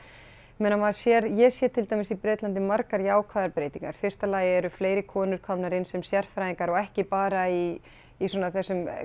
maður sér ég sé til dæmis í Bretlandi margar jákvæðar breytingar í fyrsta lagi eru fleiri konur komnar inn sem sérfræðingar og ekki bara í í svona þessum